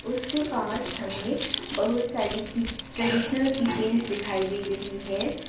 उसके पास हमें बहुत सारी की ट्रेडिशनल की चैन दिखाई दे रही हैं।